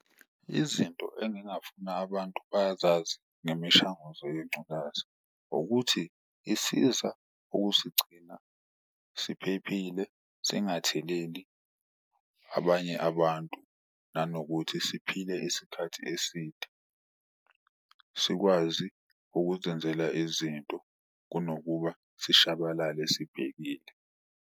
Izinto engingafuna abantu bazazi ngemishanguzo yengculaza ukuthi isiza ukusigcina siphephile singatheleli abanye abantu, nanokuthi siphile isikhathi eside. Sikwazi ukuzenzela izinto kunokuba sishabalale sibhekile.